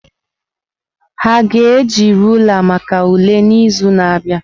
Ha ga-eji rulaa maka ule n'izu na-abịa?